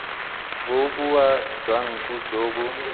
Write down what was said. boboa jwa nku jo bo